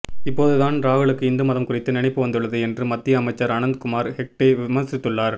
இப்போது தான் ராகுலுக்கு இந்து மதம் குறித்து நினைப்பு வந்துள்ளது என்று மத்திய அமைச்சர் அனந்த் குமார் ஹெக்டே விமர்சித்துள்ளார்